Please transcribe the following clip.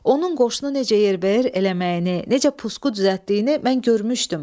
Onun qoşunu necə yerbəyer eləməyini, necə pusqu düzəltdiyini mən görmüşdüm.